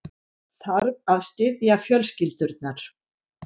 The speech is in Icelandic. Þarf að styðja fjölskyldurnar